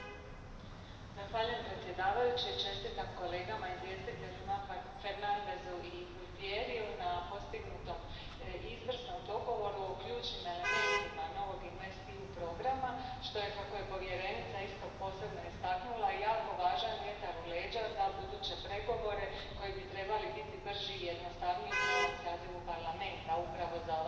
Poštovani predsjedavajući, čestitam kolegama izvjestiteljima Fernandesu i Gualtieriju na postignutom izvrsnom dogovoru o ključnim elementima novog InvestEU programa, što je, kako je povjerenica isto posebno istaknula, jako važan vjetar u leđa za buduće pregovore koji bi trebali biti brži i jednostavniji u novom sazivu Parlamenta upravo za ovaj program.